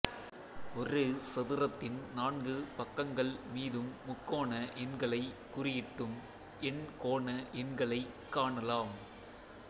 ஒரு சதுரத்தின் நான்கு பக்கங்கள் மீதும் முக்கோண எண்களைக் குறியிட்டும் எண்கோண எண்களைக் காணலாம்